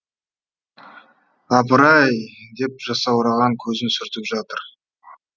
апыр ай деп жасаураған көзін сүртіп жатыр